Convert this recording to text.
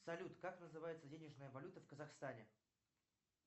салют как называется денежная валюта в казахстане